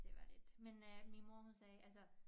Det var lidt men øh min mor hun sagde altså